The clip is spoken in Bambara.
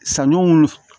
Sanɲɔ f